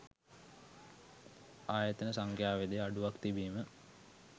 ආයතන සංඛ්‍යාවේද අඩුවක් තිබීම